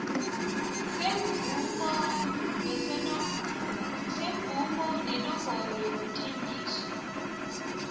semvumo nenomboro yokuthengiswa